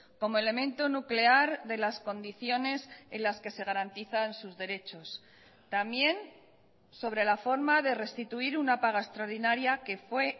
como elemento nuclear de las condiciones en las que se garantizan sus derechos también sobre la forma de restituir una paga extraordinaria que fue